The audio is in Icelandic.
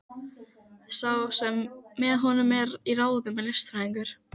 Sá sem með honum er í ráðum er listfræðingur.